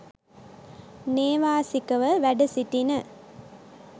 නේවාසිකව වැඩ සිටින